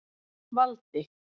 Valdi